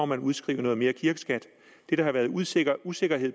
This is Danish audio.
man udskrive noget mere kirkeskat det der har været usikkerhed usikkerhed